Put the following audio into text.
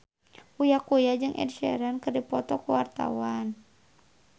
Uya Kuya jeung Ed Sheeran keur dipoto ku wartawan